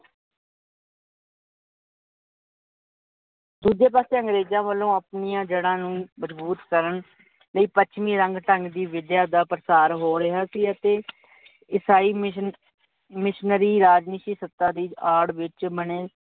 ਦੂਜੇ ਪਾਸੇ ਅੰਗਰੇਜਾਂ ਵੱਲੋਂ ਆਪਣਿਆ ਜੜਾਂ ਨੂੰ ਮਜਬੂਤ ਕਰਨ ਲਈ ਪੱਛਮੀ ਰੰਗ ਢੰਗ ਦੀ ਵਿਦਿਆ ਦਾ ਪ੍ਰਸਾਰ ਹੋ ਰਿਹਾ ਸੀ, ਅਤੇ ਇਸਾਈ commissioner ਰਾਜਨੀਤੀ ਸੱਤਾ ਦੀ ਆੜ ਵਿੱਚ